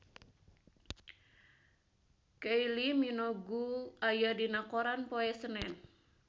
Kylie Minogue aya dina koran poe Senen